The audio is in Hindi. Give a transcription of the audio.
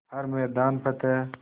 हर मैदान फ़तेह